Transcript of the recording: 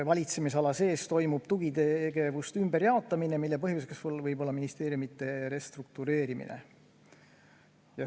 Valitsemisala sees toimub tugitegevuste ümberjaotamine, mille põhjuseks võib olla ministeeriumide restruktureerimine.